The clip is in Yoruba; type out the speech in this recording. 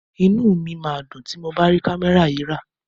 Inú mi máa dùn tí mo bá rí kámẹ́rà yìí rà.